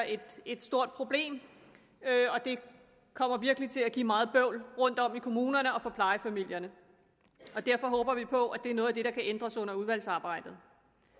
et et stort problem og det kommer virkelig til at give meget bøvl rundtom i kommunerne og for plejefamilierne derfor håber vi på at det er noget af det der kan ændres under udvalgsarbejdet